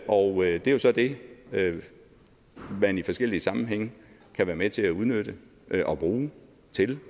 og det er så det man i forskellige sammenhænge kan være med til at udnytte og bruge